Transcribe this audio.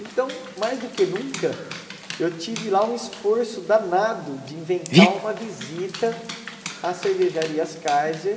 Então, mais do que nunca, eu tive lá um esforço danado de inventar uma visita às cervejarias Kaiser,